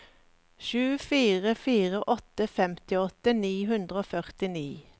sju fire fire åtte femtiåtte ni hundre og førtini